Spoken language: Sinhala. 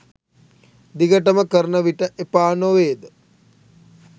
දිගටම කරන විට එපා නොවේද